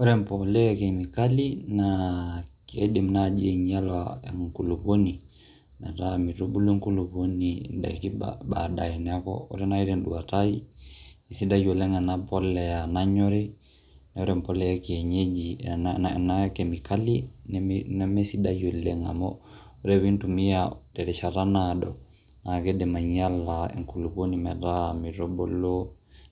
Ore embolea e kemikali naa kiidm naaji ainyala enkulukoni metaa mitubulu enkulukoni ndaiki baadaye. Neeku ore nai te nduata ai naa kesidai ena polea nanyori, ore embolea e kienyeji ena e kemikali nemesidai oleng' amu ore pee intumia terishata naado naake idim ainyala enkukoni metaa mitubulu